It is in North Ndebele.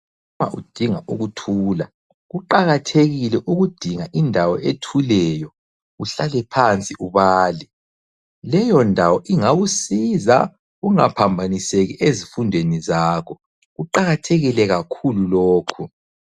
Nxa udinga ukuthula kuqakathekile ukudinga indawo ethuleyo uhlale phansi ubale. Leyo ndawo ingakusiza ungaphambaniseki ezifundweni zakho kuqakathekile kakhulu lokho.